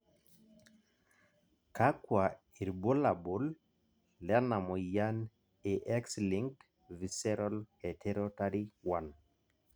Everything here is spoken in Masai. kakua irbulabol lena moyian e X linked visceral heterotary 1?